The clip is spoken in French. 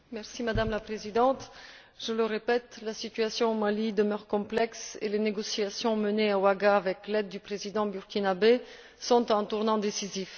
Madame la Présidente, je le répète, la situation au Mali demeure complexe et les négociations menées à Ouagadougou, avec l'aide du président burkinabé, sont à un tournant décisif.